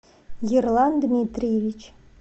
ерлан дмитриевич